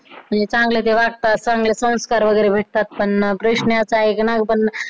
म्हणजे ते चांगले ते वागतात, चांगले संस्कार वगैरे भेटतात त्यांना प्रश्न असा आहे कि नाव बद